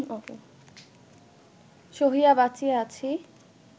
সহিয়া বাঁচিয়া আছি